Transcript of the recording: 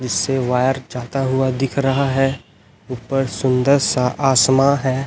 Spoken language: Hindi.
जिससे वायर जाता हुआ दिख रहा है ऊपर सुंदर सा आसमां है।